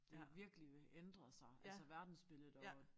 Det vil virkelig vil ændre sig altså verdensbilledet og